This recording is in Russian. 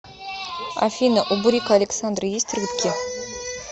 афина у бурико александры есть рыбки